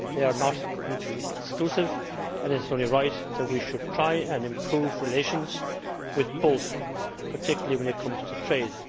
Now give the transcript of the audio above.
They are not mutually exclusive and it is only right that we should try and improve relations with both, particularly when it comes to trade.